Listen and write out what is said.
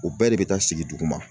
O bɛɛ de bɛ taa sigi duguma.